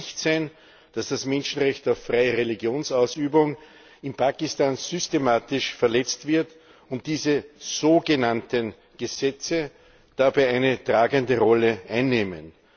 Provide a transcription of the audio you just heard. Es darf nicht sein, dass das Menschenrecht auf freie Religionsausübung in Pakistan systematisch verletzt wird und diese sogenannten Gesetze dabei eine tragende Rolle einnehmen.